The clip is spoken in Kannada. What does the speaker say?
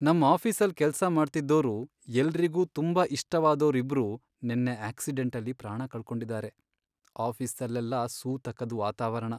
ನಮ್ ಆಫೀಸಲ್ ಕೆಲ್ಸ ಮಾಡ್ತಿದ್ದೋರು, ಎಲ್ರಿಗೂ ತುಂಬಾ ಇಷ್ಟವಾದೋರ್ ಇಬ್ರು ನೆನ್ನೆ ಆಕ್ಸಿಡೆಂಟಲ್ಲಿ ಪ್ರಾಣ ಕಳ್ಕೊಂಡಿದಾರೆ. ಆಫೀಸಲ್ಲೆಲ್ಲ ಸೂತಕದ್ ವಾತಾವರಣ..